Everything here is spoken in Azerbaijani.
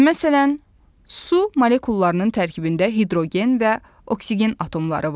Məsələn, su molekullarının tərkibində hidrogen və oksigen atomları var.